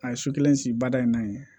A ye so kelen sigi baara in na yen